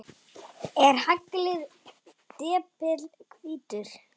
Er haglið depill hvítur?